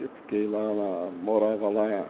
Eu fiquei lá lá, morava lá.